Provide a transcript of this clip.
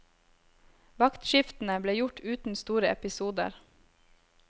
Vaktskiftene ble gjort uten store episoder.